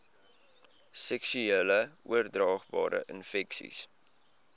seksueel oordraagbare infeksies